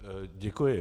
Děkuji.